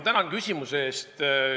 Tänan küsimuse eest!